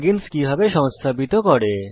এবং plug ins কিভাবে সংস্থাপিত করে